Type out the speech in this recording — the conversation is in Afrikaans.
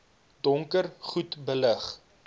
donker goed belig